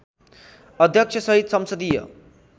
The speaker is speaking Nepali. अध्यक्ष सहित संसदीय